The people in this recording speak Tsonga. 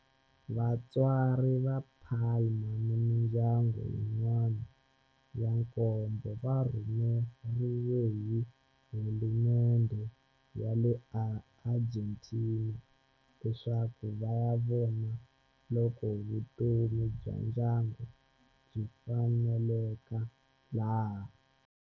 Vatswari va Palma ni mindyangu yin'wana ya nkombo va rhumeriwe hi hulumendhe ya le Argentina leswaku va ya vona loko vutomi bya ndyangu byi faneleka laha.